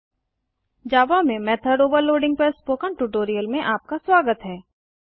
जावा में मेथोड overloadingमेथड ओवरलोडिंग पर स्पोकन ट्यूटोरियल में आपका स्वागत है